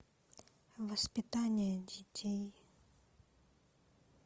воспитание детей